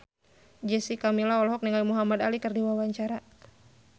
Jessica Milla olohok ningali Muhamad Ali keur diwawancara